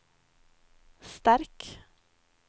sterk